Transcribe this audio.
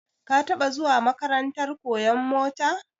Ka taba zuwa makarantar koyan mota?